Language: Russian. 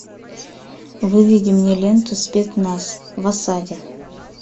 выведи мне ленту спецназ в осаде